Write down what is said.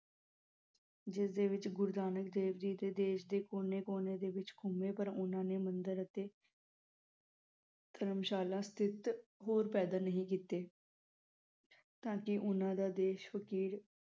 ਜਿਸਦੇ ਵਿਚੱ ਗੁਰੂ ਨਾਨਕ ਦੇਵ ਜੀ ਦੇਸ਼ ਦੇ ਕੋਨੇ ਕੋਨੇ ਦੇ ਵਿਚ ਘੁੰਮੇ ਪਰ ਓਹਨਾ ਨੇ ਮੰਦਿਰ ਅਤੇ ਧਰਮਸ਼ਾਲਾ ਸਤਿਥ ਹੋਰ ਪੈਦਾ ਨਹੀਂ ਕੀਤੇ ਤਾ ਕਿ ਓਹਨਾ ਦਾ ਦੇਸ਼ ਫ਼ਕੀਰ